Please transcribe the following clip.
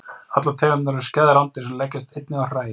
Allar tegundirnar eru skæð rándýr sem leggjast einnig á hræ.